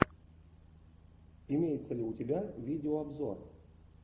имеется ли у тебя видеообзор